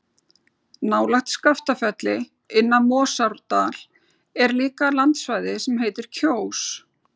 Nálægt Skaftafelli, inn af Morsárdal er líka landsvæði sem heitir Kjós.